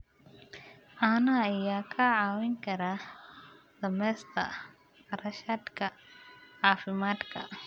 Caanaha ayaa kaa caawin kara dhimista kharashaadka caafimaadka.